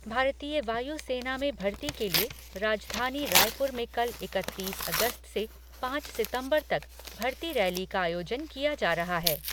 भारतीय वायु सेना में भर्ती के लिए राजधानी रायपुर में कल इकतीस अगस्त से पाँच सितम्बर तक भर्ती रैली का आयोजन किया जा रहा है।